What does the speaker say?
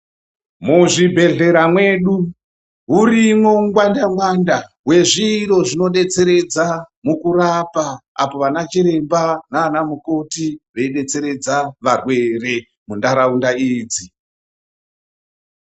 Muzvibhedhlera mwedu, hurimwo ungwanda gwanda hwezviro zvinodetseredza mukurapa apo vanachiremba naanamukoti veidetseredza varwere muntaraunda idzi.